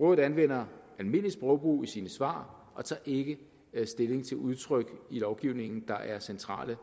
rådet anvender almindeligt sprogbrug i sine svar og tager ikke stilling til udtryk i lovgivningen der er centrale